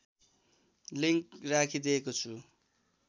link राखिदिएको छु